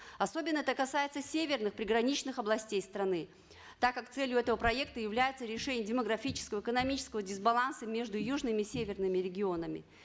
особенно это касается северных приграничных областей страны так как целью этого проекта является решение демографического экономического дисбаланса между южными и северными регионами